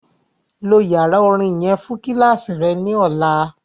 Lo yara orin yẹn fun kíláàsì rẹ ni ọla!